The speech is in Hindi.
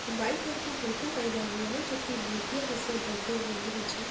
वाइट कलर का कुर्ता पेहना हुआ है जो की मूर्तियाँ जैसे बैठे हुए है नीचे।